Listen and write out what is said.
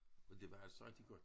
Og det var altså rigtig godt